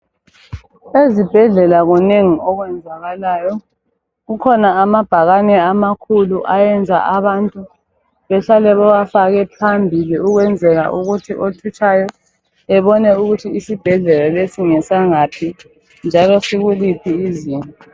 eZibhedlela kunengi okwenzakalayo kukhona amabhakane amakhulu ayenza abantu behlale bewafake phambili ukwenzela ukuthi othutshayo ebone ukuthi iSibhedlela lesi ngesangaphi njalo sikuliphi izinga